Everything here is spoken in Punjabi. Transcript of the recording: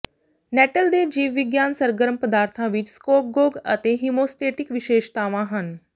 ਨੈੱਟਲ ਦੇ ਜੀਵਵਿਗਿਆਨ ਸਰਗਰਮ ਪਦਾਰਥਾਂ ਵਿੱਚ ਸਕੋਗਗੌਗ ਅਤੇ ਹੀਮੋਸਟੇਟਿਕ ਵਿਸ਼ੇਸ਼ਤਾਵਾਂ ਹਨ